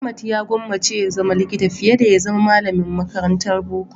Ahmad ya gwammace ya zama likita fiye da zama malamin makarantan boko.